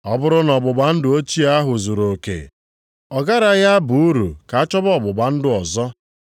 Ọ bụrụ na ọgbụgba ndụ ochie ahụ zuruoke, ọ garaghị aba uru ka achọwa ọgbụgba ndụ ọzọ.